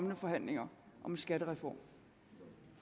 med forhandlingerne om en skattereform